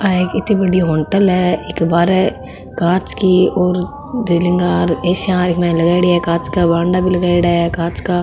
आ कित्ती बड़ी होटल है इक बार कांच की और रैलिंग ए.सी. या लगाईडी है कांच का बॉन्डा भी लगाईडा है कांच का --